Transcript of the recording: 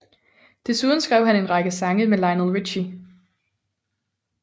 Desuden skrev han en række sange sammen med Lionel Richie